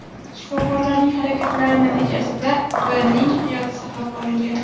Shifokorlarning harakatlari natijasida V. ning hayoti saqlab qolingan.